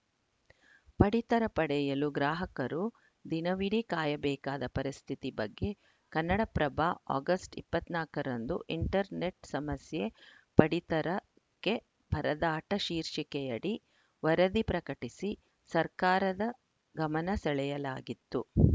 ಪಡಿತರ ಪಡೆಯಲು ಗ್ರಾಹಕರು ದಿನವಿಡೀ ಕಾಯಬೇಕಾದ ಪರಿಸ್ಥಿತಿ ಬಗ್ಗೆ ಕನ್ನಡಪ್ರಭ ಆಗಸ್ಟ್ ಇಪ್ಪತ್ತ್ ನಾಲ್ಕರಂದು ಇಂಟರ್‌ನೆಟ್‌ ಸಮಸ್ಯೆಪಡಿತರಕ್ಕೆ ಪರದಾಟ ಶೀರ್ಷಿಕೆಯಡಿ ವರದಿ ಪ್ರಕಟಿಸಿ ಸರ್ಕಾರದ ಗಮನ ಸೆಳೆಯಲಾಗಿತ್ತು